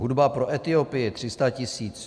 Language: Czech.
Hudba pro Etiopii - 300 tisíc.